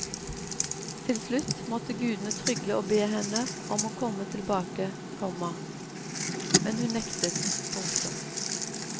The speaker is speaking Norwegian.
Tilslutt måtte gudene trygle og be henne om å komme tilbake, komma men hun nektet. punktum